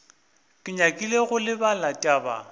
ke nyakile go lebala taba